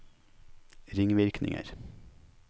ringvirkninger